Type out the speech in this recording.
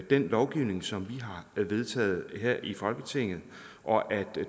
den lovgivning som vi har vedtaget her i folketinget og at